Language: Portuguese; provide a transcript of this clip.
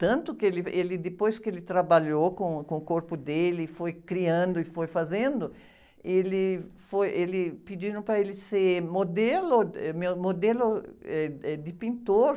Tanto que ele, ele depois que ele trabalhou com, com o corpo dele, foi criando e foi fazendo, ele foi, ele, pediram para ele ser modelo, êh, modelo, êh, êh, de pintor.